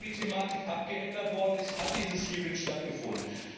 Nachdem die Thematik abgeändert worden ist, hat diese Anhörung stattgefunden.